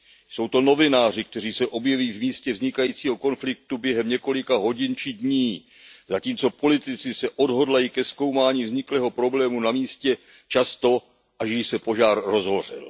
Jsou to novináři, kteří se objeví v místě vznikajícího konfliktu během několika hodin či dní, zatímco politici se odhodlají ke zkoumání vzniklého problému na místě často, až když se požár rozhořel.